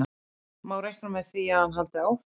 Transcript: Má reikna með því að hann haldi áfram?